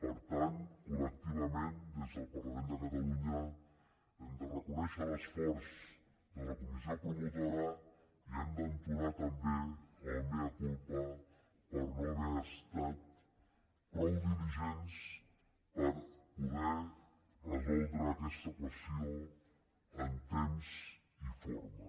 per tant col·lectivament des del parlament de catalunya hem de reconèixer l’esforç de la comissió promotora i hem d’entonar també el mea culpa per no haver estat prou diligents per poder resoldre aquesta qüestió en temps i forma